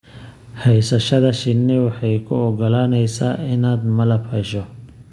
Haysashada shinni waxay kuu ogolaaneysaa inaad malab hesho.